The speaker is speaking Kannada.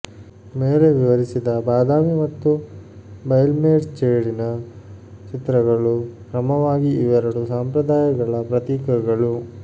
ಮೇಲೆ ವಿವರಿಸಿದ ಬಾದಾಮಿ ಮತ್ತು ಬೈಲ್ಮೆರ್ಚೇಡಿನ ಚಿತ್ರಗಳು ಕ್ರಮವಾಗಿ ಇವೆರಡು ಸಂಪ್ರದಾಯಗಳ ಪ್ರತೀಕಗಳು